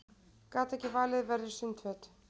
Gat ekki valið verri sundföt